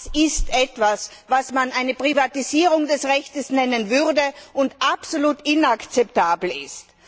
Das ist etwas, was man eine Privatisierung des Rechts nennen würde und was absolut inakzeptabel ist.